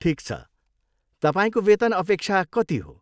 ठिक छ, तपाईँको वेतन अपेक्षा कति हो?